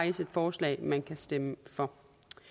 et forslag man kan stemme for